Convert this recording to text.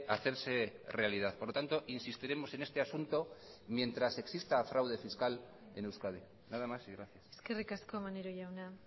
hacerse realidad por lo tanto insistiremos en este asunto mientras exista fraude fiscal en euskadi nada más y gracias eskerrik asko maneiro jauna